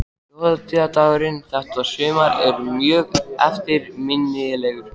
Þjóðhátíðardagurinn þetta sumar er mjög eftirminnilegur.